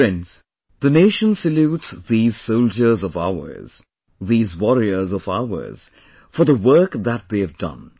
Friends, the nation salutes these soldiers of ours, these warriors of ours for the work that they have done